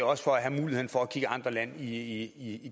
også for at have muligheden for at kigge andre lande i